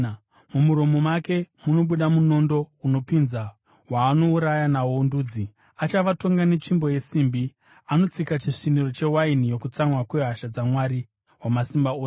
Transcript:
Mumuromo make munobuda munondo unopinza waanouraya nawo ndudzi. “Achavatonga netsvimbo yesimbi.” Anotsika chisviniro chewaini yokutsamwa kwehasha dzaMwari Wamasimba Ose.